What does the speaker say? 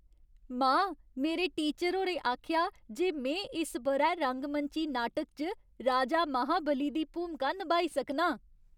मां, मेरे टीचर होरें आखेआ जे में इस ब'रै रंगमंची नाटक च राजा महाबली दी भूमिका नभाई सकनां।